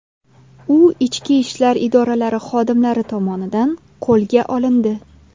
U ichki ishlar idoralari xodimlari tomonidan qo‘lga olindi.